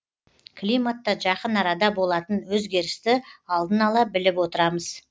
климатта жақын арада болатын өзгерісті алдын ала біліп отырамыз